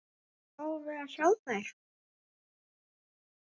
Fáum við að sjá þær?